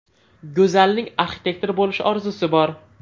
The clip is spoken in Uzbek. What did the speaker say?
Go‘zalning arxitektor bo‘lish orzusi bor.